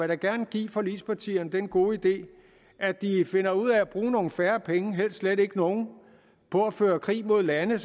da gerne give forligspartierne den gode idé at de finder ud af at bruge nogle færre penge helst slet ikke nogen på at føre krig mod lande